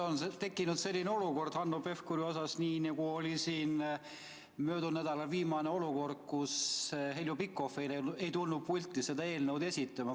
Nüüd on tekkinud selline olukord Hanno Pevkuri puhul, nagu oli möödunud nädalal viimane juhtum, kui Heljo Pikhof ei tulnud pulti eelnõu esitama.